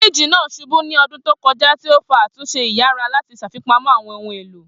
Firiji naa ṣubu ni ọdun to kọja, ti o fa atunṣe iyara lati ṣafipamọ awọn ohun elo.